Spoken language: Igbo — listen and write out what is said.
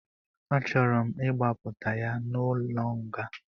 A chọrọ m ịgbapụta ya n'ụlọ nga